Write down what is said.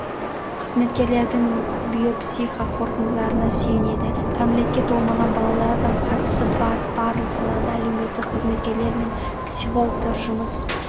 қызметкерлердің биопсихо қорытындыларына сүйенеді кәмелетке толмаған балалардың қатысы бар барлық салада әлеуметтік қызметкерлер мен психологтар жұмыс